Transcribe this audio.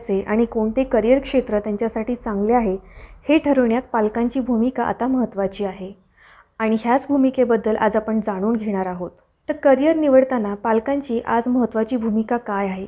आणि कोणते career क्षेत्र त्यांच्यासाठी चांगले आहे हे ठरवण्यात पालकांची भूमिका आता महत्वाची आहे. आणि याच भूमिकेबद्दल आज आपण जाणून घेणार आहोत. तर careerनिवडताना पालकांची आज महत्वाची भूमिका काय आहे?